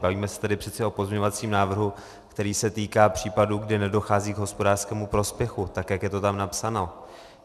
Bavíme se tady přece o pozměňovacím návrhu, který se týká případů, kdy nedochází k hospodářskému prospěchu, tak jak je to tam napsáno.